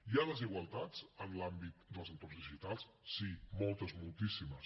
hi ha desigualtats en l’àmbit dels entorns digitals sí moltes moltíssimes